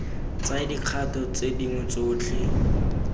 tsaya dikgato tse dingwe tsotlhe